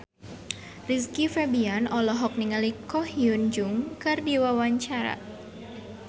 Rizky Febian olohok ningali Ko Hyun Jung keur diwawancara